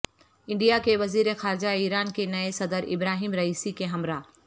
India کے وزیر خارجہ ایران کے نئے صدر ابراہیم رئیسی کے ہمراہ